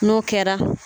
N'o kɛra